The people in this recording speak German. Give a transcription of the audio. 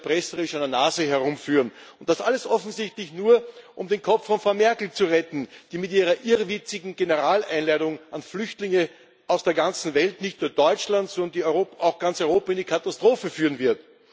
uns erpresserisch an der Nase herumführen. Und das alles offensichtlich nur, um den Kopf von Frau Merkel zu retten, die mit ihrer irrwitzigen Generaleinladung an Flüchtlinge aus der ganzen Welt nicht nur Deutschland, sondern ganz Europa in die Katastrophe führen wird.